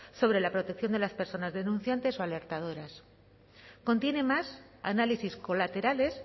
sobre la protección de las personas denunciantes o alertadoras contiene más análisis colaterales